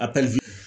A